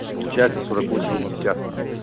получается сорок восемь пятьдесят